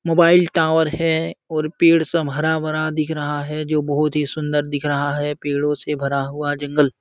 Mobile tower है और पेड़ सब हरा-भरा दिख रहा है जो बहुत ही सुन्दर दिख रहा है। पेड़ो से भरा हुआ जंगल --